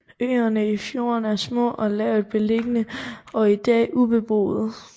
Øerne i fjorden er små og lavt beliggende og i dag ubeboede